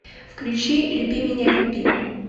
включи люби меня люби